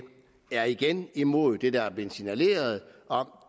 er igen imod det der er blev signaleret om